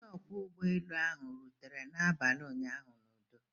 Onye ọkwọ ụgbọelu ahụ ọ rutere n'abalị ụnyaahụ n'udo?